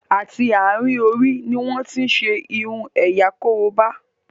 àti àrin Orí ní wón tin ṣe irun ẹ̀yà koroba.